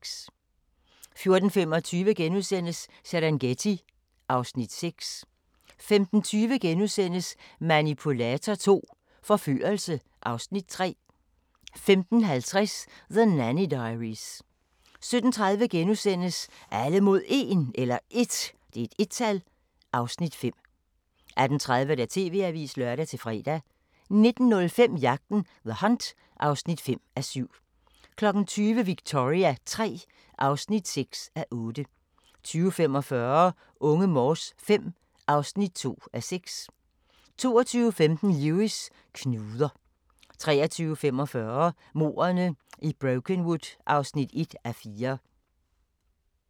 14:25: Serengeti (Afs. 6)* 15:20: Manipulator II – Forførelse (Afs. 3)* 15:50: The Nanny Diaries 17:30: Alle mod 1 (Afs. 5)* 18:30: TV-avisen (lør-fre) 19:05: Jagten – The Hunt (5:7) 20:00: Victoria III (6:8) 20:45: Unge Morse V (2:6) 22:15: Lewis: Knuder 23:45: Mordene i Brokenwood (1:4)